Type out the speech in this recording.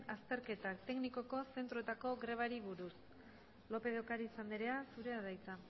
azterketa teknikoko zentroetako grebari buruz lópez de ocariz anderea zurea da hitza